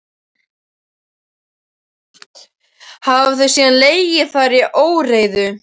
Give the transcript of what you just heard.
Hafa þau síðan legið þar í óreiðu.